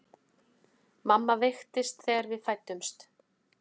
Mamma veiktist þegar við fæddumst.